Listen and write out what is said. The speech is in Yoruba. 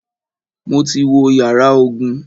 Mo ti wo yàrá ogun.